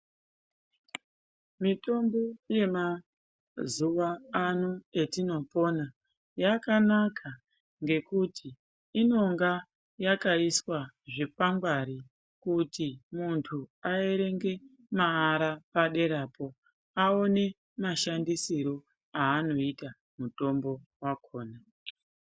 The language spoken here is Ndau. Mitombo yemazuwa ano etinopona yakanaka ngekuti inonga yakaiswa zvikwangwani kuti muntu aerenge maara paderapo aone mashandisirwo aanoita mutombo wakhona